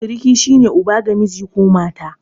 Siriki shi ne uba ga miji ko mata.